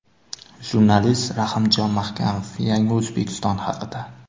Jurnalist Rahimjon Mahkamov – yangi O‘zbekiston haqida.